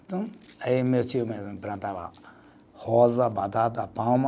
Então, aí meu tio mesmo plantava rosa, batata, palma,